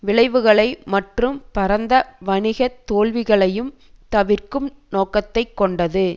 விளைவுகளை மற்றும் பரந்த வணிக தோல்விகளையும் தவிர்க்கும் நோக்கத்தை கொண்டது